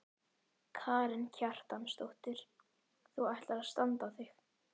Karen Kjartansdóttir: Þú ætlar að standa þig?